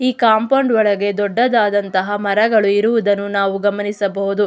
ಈ ಕಾಂಪೌಂಡ್ ಒಳಗೆ ದೊಡ್ಡದಂತಹ ಮರಗಳು ಇರುವುದನ್ನು ನಾವು ಗಮನಿಸಬಹುದು.